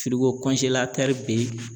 Firigo bɛ